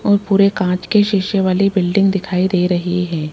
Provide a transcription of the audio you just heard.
और पूरे कांच के शीशे वाली बिल्डिंग दिखाई दे रही हैं।